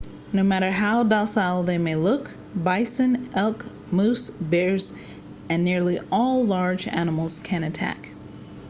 no matter how docile they may look bison elk moose bears and nearly all large animals can attack